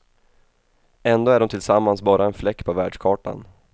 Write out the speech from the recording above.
Ändå är de tillsammans bara en fläck på världskartan.